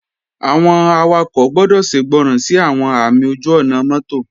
Àwọn awakọ̀ gbọ́dọ̀ ṣègbọràn sí àwọn ààmì ojú-ọ̀nà mọ́tò